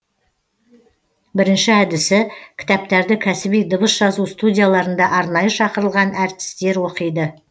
бірінші әдісі кітаптарды кәсіби дыбыс жазу студияларында арнайы шақырылған әртістер оқиды